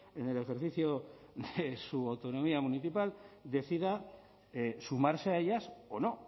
en el ejercicio de su autonomía municipal decida sumarse a ellas o no